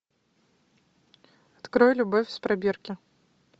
открой любовь из пробирки